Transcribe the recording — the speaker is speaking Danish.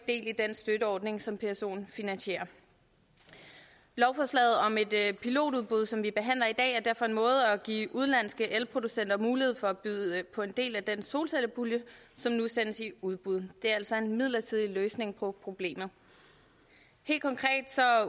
i den støtteordning som psoen finansierer lovforslaget om et pilotudbud som vi behandler i dag er derfor en måde at give udenlandske elproducenter mulighed for at byde på en del af den solcellepulje som nu sendes i udbud det er altså en midlertidig løsning på problemet helt konkret